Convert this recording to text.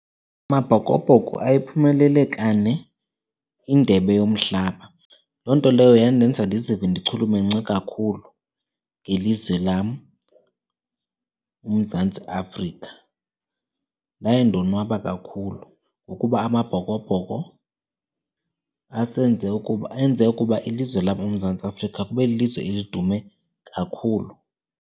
Amabhokobhoko ayiphumelele kane indebe yomhlaba. Loo nto leyo yandenza ndizive ndichulumance kakhulu ngelizwe lam uMzantsi Afrika. Ndaye ndonwaba kakhulu ngokuba Amabhokobhoko asenze ukuba, enze ukuba ilizwe laseMzantsi Afrika kube lilizwe elidume kakhulu.